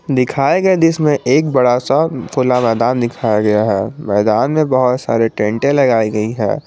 दिखाए गये दृश्य में एक बड़ा सा खुला मैदान दिखाया गया है मैदान में बहोत सारे टेंटे लगाई गई है।